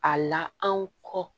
A la anw kɔ